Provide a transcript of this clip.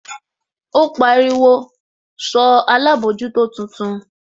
Ó pariwo, sọ alábòójútó tuntun?